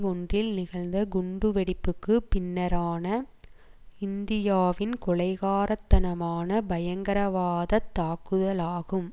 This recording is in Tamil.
ஒன்றில் நிகழ்ந்த குண்டு வெடிப்புக்கு பின்னரான இந்தியாவின் கொலைகாரத்தனமான பயங்கரவாதத் தாக்குதலாகும்